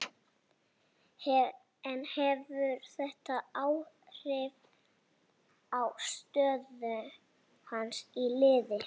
En hefur þetta áhrif á stöðu hans í liðinu?